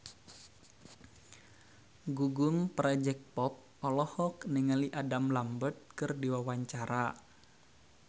Gugum Project Pop olohok ningali Adam Lambert keur diwawancara